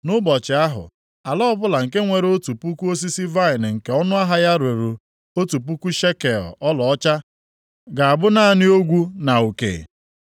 Nʼụbọchị ahụ, ala ọbụla nke nwere otu puku osisi vaịnị nke ọnụahịa ya ruru otu puku shekel ọlaọcha ga-abụ naanị ogwu na uke.